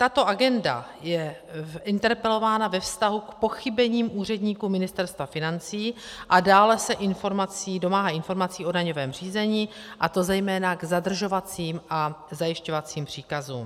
Tato agenda je interpelována ve vztahu k pochybením úředníků Ministerstva financí, a dále se domáhá informací o daňovém řízení, a to zejména k zadržovacím a zajišťovacím příkazům.